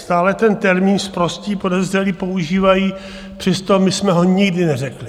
Stále ten termín "sprostí podezřelí" používají, přesto my jsme ho nikdy neřekli.